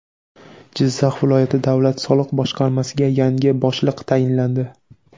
Jizzax viloyati davlat soliq boshqarmasiga yangi boshliq tayinlandi.